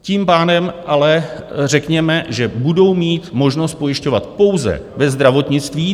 Tím pádem ale, řekněme, že budou mít možnost pojišťovat pouze ve zdravotnictví.